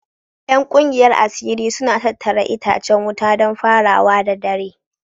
Yan kungiyar asiri suna tattara itacen wuta don farawa da dare